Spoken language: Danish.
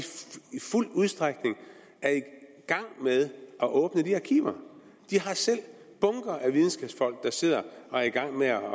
fuld udstrækning er i gang med at åbne de arkiver de har selv bunker af videnskabsfolk der sidder og er i gang med at